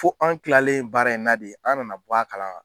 Fo an kilalen baara in na de an nana bɔ a kalama.